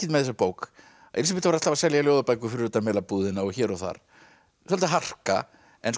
með þessa bók Elísabet var alltaf að selja ljóðabækur fyrir utan Melabúðina og hér og þar svolítil harka